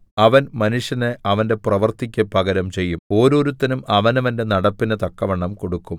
അവൻ മനുഷ്യന് അവന്റെ പ്രവൃത്തിയ്ക്ക് പകരം ചെയ്യും ഓരോരുത്തനും അവനവന്റെ നടപ്പിന് തക്കവണ്ണം കൊടുക്കും